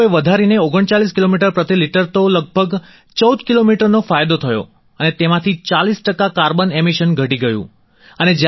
તે અમે લોકોએ વધારીને 39 કિલોમીટર પ્રતિ લિટર તો લગભગ 14 કિલોમીટરનો ફાયદો થયો અને તેમાંથી 40 ટકા કાર્બન એમિશન ઘટી ગયું